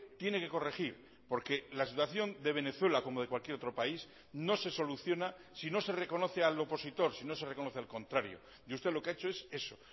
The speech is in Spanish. tiene que corregir porque la situación de venezuela como de cualquier otro país no se soluciona si no se reconoce al opositor si no se reconoce al contrario y usted lo que ha hecho es eso